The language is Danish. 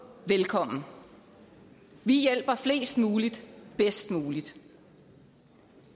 velkommen vi hjælper flest mulige bedst muligt